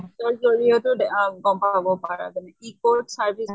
app ৰ জৰিয়তে দে আহ গম পাব পাৰা তুমি। e-court service